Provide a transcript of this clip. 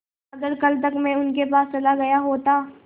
अगर कल तक में उनके पास चला गया होता